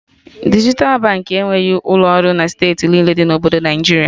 Dijital Baankị enweghị ụlọ ọrụ na steeti niile dị na Obodo Naịjiria